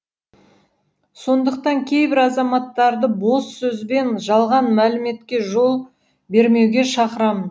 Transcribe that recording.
сондықтан кейбір азаматтарды бос сөз бен жалған мәліметке жол бермеуге шақырамын